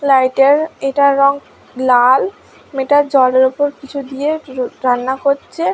Light -এর এটার রং লাল মেয়েটা জলের ওপর কিছু দিয়ে র রান্না করছে।